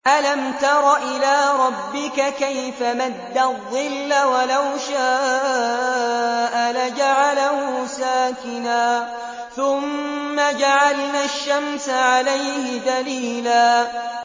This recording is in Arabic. أَلَمْ تَرَ إِلَىٰ رَبِّكَ كَيْفَ مَدَّ الظِّلَّ وَلَوْ شَاءَ لَجَعَلَهُ سَاكِنًا ثُمَّ جَعَلْنَا الشَّمْسَ عَلَيْهِ دَلِيلًا